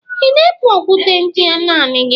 Ị na-ebu okwute ndị a naanị gị?